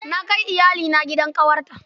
Na kai iyalina gidan ƙawarta.